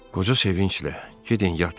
Qoca sevinclə, gedin yatın.